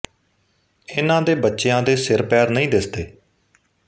ਇਨ੍ਹਾਂ ਦੇ ਬੱਚਿਆਂ ਦੇ ਸਿਰ ਪੈਰ ਨਹੀਂ ਦਿਸਦੇ